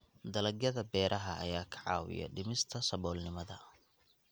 Dalagyada beeraha ayaa ka caawiya dhimista saboolnimada.